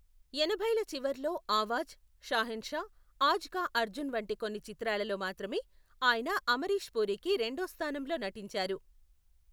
ఎనభైల చివర్లో ఆవాజ్, షాహెన్షా, ఆజ్ కా అర్జున్ వంటి కొన్ని చిత్రాలలో మాత్రమే ఆయన అమరీష్ పూరికి రెండో స్థానంలో నటించారు.